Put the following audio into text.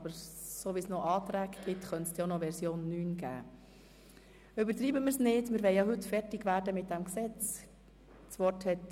Aber wenn es noch Anträge gibt, muss davon ausgegangen werden, dass es noch eine Version 9 geben wird.